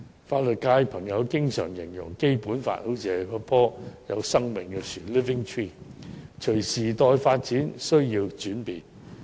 法律界朋友經常形容《基本法》是一棵有生命的樹木，需要隨着時代發展而轉變。